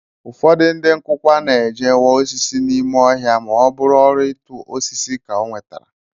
Ụfọdụ ndị nkụkwa na-eje waa osisi n'ime ohia ma ọ bụrụ ọrụ ịtụ osisi ka ọ nwetara